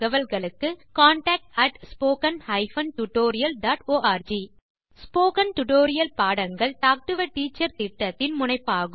contact at spoken hyphen tutorial dot org spoken tutorial பாடங்கள் talk to a teacher திட்டத்தின் முனைப்பாகும்